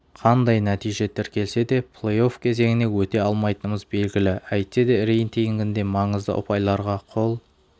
қандай нәтиже тіркелсе де плей-офф кезеңіне өте алмайтынымыз белегілі әйтсе де рейтингінде маңызды ұпайларға қол